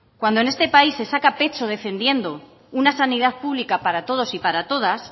cuando en este país cuando en este país se saca pecho defendiendo una sanidad pública para todos y para todas